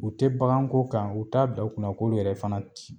U te bakan ko kan , u t'a bila u kunna k'olu yɛrɛ fana ti